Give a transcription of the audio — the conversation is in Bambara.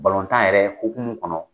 Balontan yɛrɛ hukumu kɔnɔ